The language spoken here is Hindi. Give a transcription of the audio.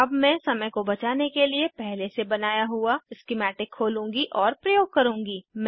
अब मैं समय को बचाने के लिए पहले से बनाया हुआ स्किमैटिक खोलूँगी और प्रयोग करूँगी